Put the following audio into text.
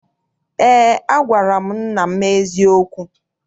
Eé, agwara m nna m eziokwu.